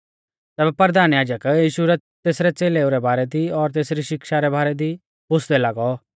तैबै परधान याजक यीशु कु तेसरै च़ेलेऊ रै बारै दी और तेसरी शिक्षा रै बारै दी पुछ़दै लागौ